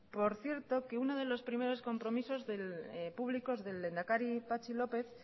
por cierto que uno de los primeros compromisos públicos del lehendakari patxi lópez